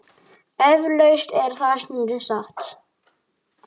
Eflaust er það stundum satt.